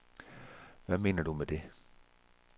Hvad mener du med det?